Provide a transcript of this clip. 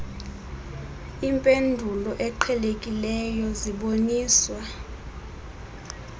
impendulo eqhelekileyo ziboniswa